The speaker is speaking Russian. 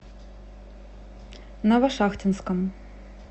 новошахтинском